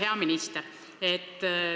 Hea minister!